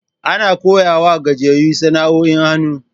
Ana koya wa gajiyayu sana'o'in hannu.